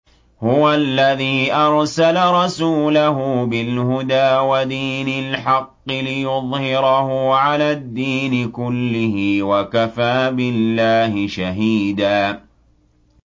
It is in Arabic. هُوَ الَّذِي أَرْسَلَ رَسُولَهُ بِالْهُدَىٰ وَدِينِ الْحَقِّ لِيُظْهِرَهُ عَلَى الدِّينِ كُلِّهِ ۚ وَكَفَىٰ بِاللَّهِ شَهِيدًا